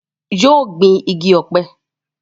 yóò gbin igi ọ̀pẹ